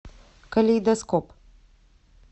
калейдоскоп